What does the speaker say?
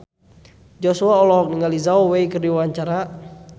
Joshua olohok ningali Zhao Wei keur diwawancara